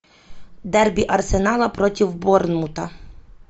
дарби арсенала против борнмута